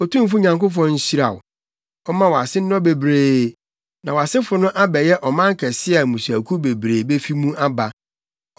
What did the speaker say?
Otumfo Nyankopɔn no nhyira wo. Ɔmma wʼase nnɔ bebree, na wʼasefo no abɛyɛ ɔman kɛse a mmusuakuw bebree befi mu aba.